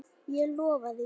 Ég lofaði því.